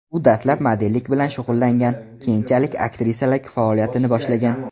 U dastlab modellik bilan shug‘ullangan, keyinchalik aktrisalik faoliyatini boshlagan.